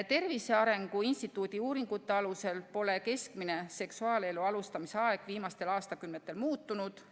Tervise Arengu Instituudi uuringute alusel pole keskmine seksuaalelu alustamise aeg viimastel aastakümnetel muutunud.